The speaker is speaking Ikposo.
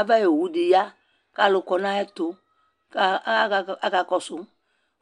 aɣa ɔwʋ di ya kʋ alʋ kɔnʋ ayɛtʋ kʋ akakɔsʋ